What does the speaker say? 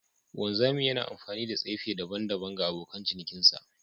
Wanzami yana amfani da tsefe daban-daban ga abokan cinikinsa